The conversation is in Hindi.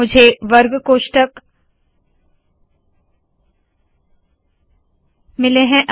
मुझे वर्ग कोष्ठक मिले है